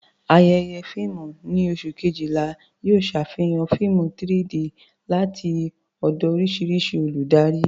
Ayẹyẹ fíìmù ní oṣù Kejìlá yóò ṣe àfihàn fíìmù 3-D láti ọ̀dọ̀ oríṣiríṣi olùdarí.